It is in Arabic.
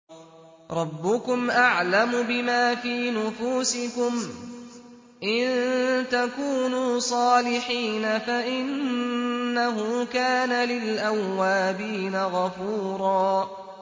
رَّبُّكُمْ أَعْلَمُ بِمَا فِي نُفُوسِكُمْ ۚ إِن تَكُونُوا صَالِحِينَ فَإِنَّهُ كَانَ لِلْأَوَّابِينَ غَفُورًا